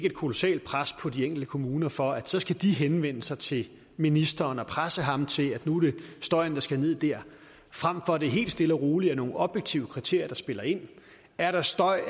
et kolossalt pres på de enkelte kommuner for at henvende sig til ministeren og presse ham til at dæmpe støjen der frem for at det helt stille og roligt er nogle objektive kriterier der spiller ind er der støj